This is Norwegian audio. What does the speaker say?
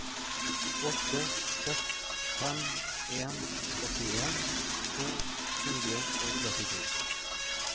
åtte seks fem en åttien to hundre og trettito